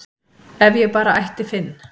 ef ég bara ætti Finn